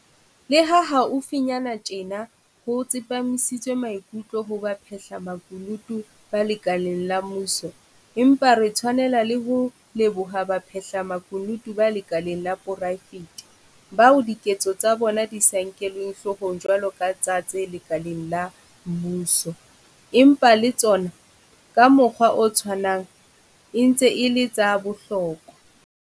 Leha haufinyane tjena ho tsepamisitswe maikutlo ho baphahlamakunutu ba lekaleng la mmuso, empa re tshwanela le ho leboha baphahlamakunutu ba lekaleng la poraefete, bao diketso tsa bona di sa nkelweng hloko jwalo ka tsa tse lekaleng la mmuso, empa le tsona, ka mokgwa o tshwanang, e ntse e le tsa bohlokwa.